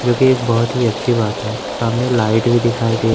जोंकि एक बहोत ही अच्छी बात है सामने लाइट भी दिखाई दे--